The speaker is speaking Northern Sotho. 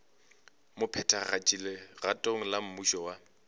mophethagatši legatong la mmušo wa